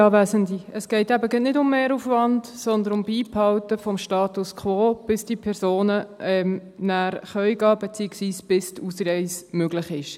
Es geht eben gerade nicht um Mehraufwand, sondern um Beibehalten des Status quo, bis diese Personen nachher gehen können, beziehungsweise, bis die Ausreise möglich ist.